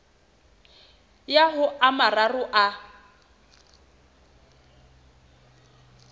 ya ho a mararo a